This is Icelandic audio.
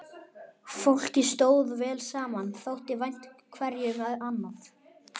Fólkið stóð vel saman, þótti vænt hverju um annað.